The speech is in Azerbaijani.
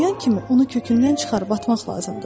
tanıyan kimi onu kökündən çıxarıb atmaq lazımdır.